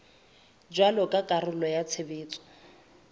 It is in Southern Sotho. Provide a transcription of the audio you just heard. jwalo ka karolo ya tshebetso